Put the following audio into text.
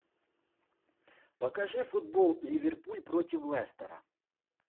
покажи футбол ливерпуль против лестера